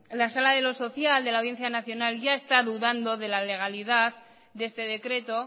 la sala de lo social de la audiencia nacional ya está dudando de la legalidad de este decreto